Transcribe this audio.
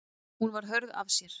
Hún var hörð af sér.